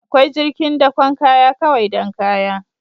Akwai jirgin dakon kaya kawai don kaya